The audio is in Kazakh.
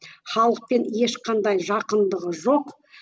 халықпен ешқандай жақындығы жоқ